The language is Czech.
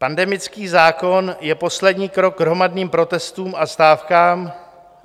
Pandemický zákon je poslední krok k hromadným protestům a stávkám.